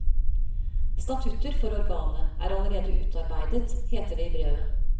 Statutter for organet er allerede utarbeidet, heter det i brevet.